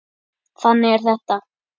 þannig er þetta